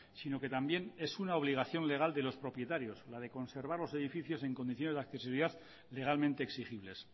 sino que también es una obligación legal de los propietarios la de conservar los edificios en condiciones de accesibilidad legalmente exigibles